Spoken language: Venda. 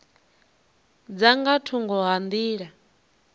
dza nga thungo ha nḓila